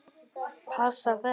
Passar þetta?